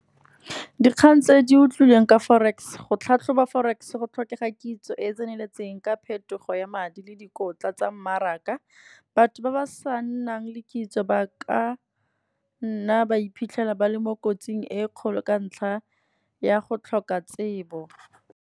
Dikgang tse di utlwileng ka forex go tlhatlhoba forex, go tlhokega kitso e e tseneletseng ka phetogo ya madi le dikotla tsa mmaraka. Batho ba ba sa nnang le kitso ba ka nna ba iphitlhela ba le mo kotsing e kgolo ka ntlha ya go tlhoka tsebo.